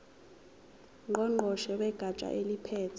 ngqongqoshe wegatsha eliphethe